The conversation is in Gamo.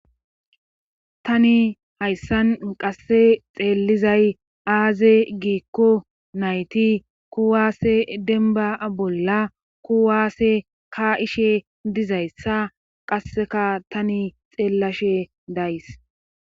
tani hayssan qasse xeellizay aaze giikko nayti kuwaase denba bolla kuwaase ka ishe dizayssa qasseka tani xeellashe days